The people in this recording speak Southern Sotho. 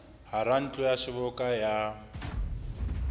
hara ntlo ya seboka ya